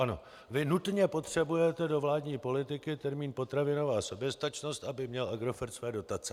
Ano, vy nutně potřebujete do vládní politiky termín potravinová soběstačnost, aby měl Agrofert své dotace.